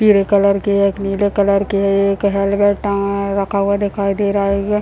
पीले कलर की है एक नीले कलर की है एक हेलमेट टँगाया रखा हुआ दिखाई दे रहा है।